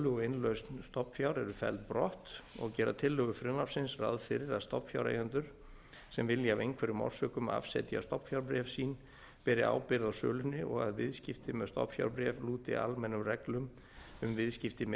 og innlausn stofnfjár eru felld brott og gera tillögur frumvarpsins ráð fyrir að stofnfjáreigendur sem vilja af einhverjum orsökum afsetja stofnfjárbréf sín beri ábyrgð á sölunni og að viðskipti með stofnfjárbréf lúti almennum reglum um viðskipti með